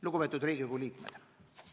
Lugupeetud Riigikogu liikmed!